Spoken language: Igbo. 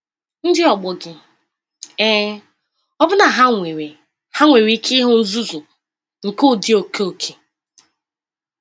Ndị ọgbọ gị? Ee – ọbụna ha nwere ha nwere ike ịhụ nzuzu nke ụdị oke oke.